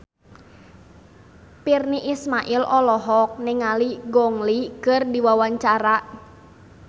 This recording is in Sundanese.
Virnie Ismail olohok ningali Gong Li keur diwawancara